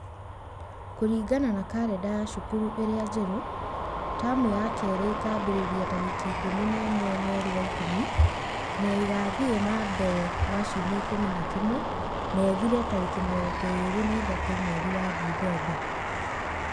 Kũringana na arenda ya cukuru ĩrĩa njerũ, taamu ya kerĩ ĩkambĩrĩria tarĩki ĩkũmi na ĩmwe mweri wa ĩkũmi na igathiĩ na mbere kwa ciumia ĩkũmi na kĩmwe, na ĩthire tarĩki mĩrongo ĩrĩ na ithatũ mweri wa ndithemba.